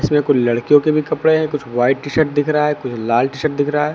इसमें कुछ लड़कियों के भी कपड़े हैं कुछ व्हाइट टी शर्ट दिख रहा है कुछ लाल टी शर्ट दिख रहा है।